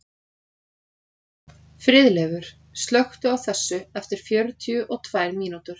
Friðleifur, slökktu á þessu eftir fjörutíu og tvær mínútur.